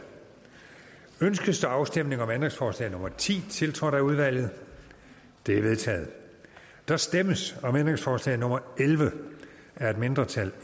ønskes der afstemning om ændringsforslag nummer ti tiltrådt af udvalget det er vedtaget der stemmes om ændringsforslag nummer elleve af et mindretal